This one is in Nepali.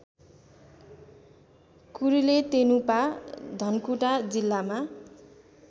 कुरुलेतेनुपा धनकुटा जिल्लामा